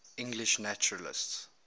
english naturalists